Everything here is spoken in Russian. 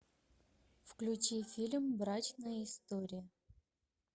включи фильм брачная история